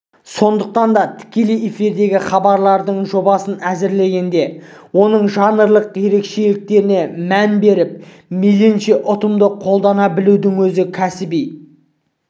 сондықтан да тікелей эфирдегі хабардың жобасын әзірлегенде оның жанрлық ерекшелігіне мән беріп мейлінше ұтымды қолдана білудің өзі кәсіби